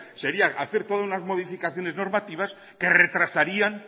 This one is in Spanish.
sería hacer todas las modificaciones normativas que retrasarían